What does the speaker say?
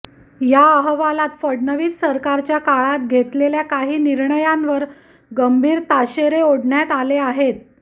या अहवालात फडणवीस सरकारच्या काळात घेतलेल्या काही निर्णयांवर गंभीर ताशेरे ओढण्यात आले आहेत